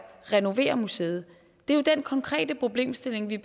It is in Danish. renovere museet det er jo den konkrete problemstilling vi